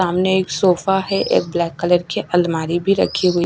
सामने एक सोफा है एक ब्लैक कलर के अलमारी भी रखी हुई--